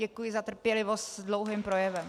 Děkuji za trpělivost s dlouhým projevem.